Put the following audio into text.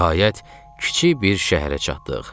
Nəhayət, kiçik bir şəhərə çatdıq.